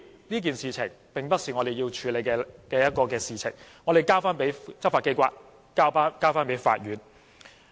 這件事情並不是我們要處理的，我們應該交由執法機構和法院處理。